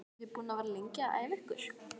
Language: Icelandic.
Eru þið búin að vera lengi að æfa ykkur?